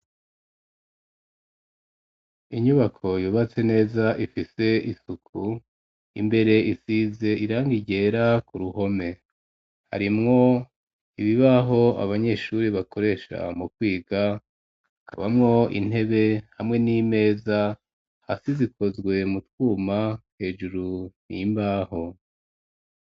Inyubako yubatse neza ifise isuku imbere isize irangi ryera ku ruhome harimwo ibibaho abanyeshure bakoresha mu kwiga kabamwo intebe hamwe n'imeza hasi zikozwe mu twuma hejuru n'imbaho.